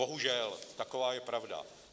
Bohužel, taková je pravda.